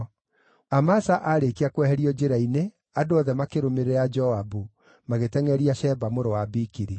Amasa aarĩkia kweherio njĩra-inĩ, andũ othe makĩrũmĩrĩra Joabu, magĩtengʼeria Sheba mũrũ wa Bikiri.